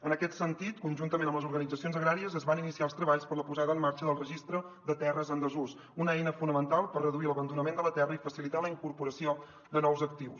en aquest sentit conjuntament amb les organitzacions agràries es van iniciar els treballs per a la posada en marxa del registre de terres en desús una eina fonamental per reduir l’abandonament de la terra i facilitar la incorporació de nous actius